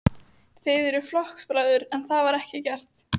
Þið eruð flokksbræður, en það var ekki gert?